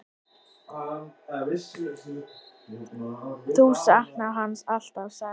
Þú saknar hans alltaf, sagði